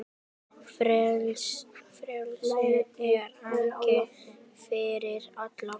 Frelsi er ekki fyrir alla.